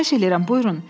Xahiş edirəm, buyurun.